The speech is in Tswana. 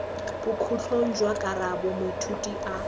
bokhutlong jwa karabo moithuti a